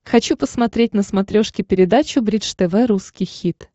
хочу посмотреть на смотрешке передачу бридж тв русский хит